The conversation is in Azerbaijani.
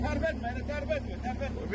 Tərpətmə, tərpətmə, tərpətmə.